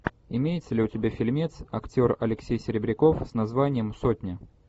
имеется ли у тебя фильмец актер алексей серебряков с названием сотня